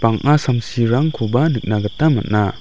bang·a samsirangkoba nikna gita man·a.